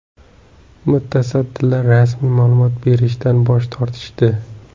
Mutasaddilar rasmiy ma’lumot berishdan bosh tortishdi.